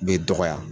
Bɛ dɔgɔya